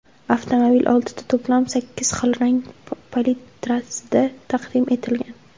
Avtomobil oltita to‘plam, sakkiz xil rang palitrasida taqdim etilgan.